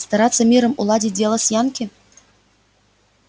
стараться миром уладить дело с янки